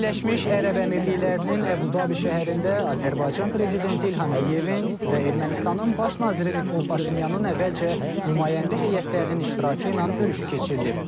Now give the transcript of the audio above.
Birləşmiş Ərəb Əmirliklərinin Əbu-Dabi şəhərində Azərbaycan prezidenti İlham Əliyevin və Ermənistanın baş naziri Nikol Paşinyanın əvvəlcə nümayəndə heyətlərinin iştirakı ilə görüşü keçirilib.